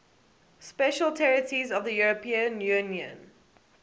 special territories of the european union